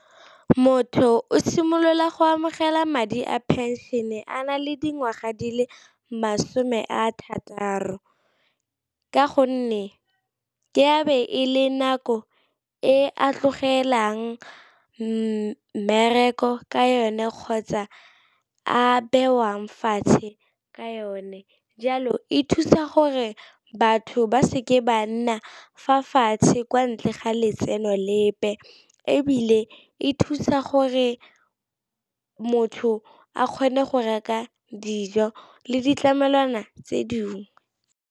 Motho o simolola go amogela madi a pension-e a na le dingwaga di le masome a thataro, ka gonne ke a be e le nako e a tlogelwang mmereko ka yone kgotsa a bewang fatshe ka yone. Jalo e thusa gore batho ba seke ba nna fa fatshe kwa ntle ga letseno lepe, ebile e thusa gore motho a kgone go reka dijo le ditlamelwana tse dingwe.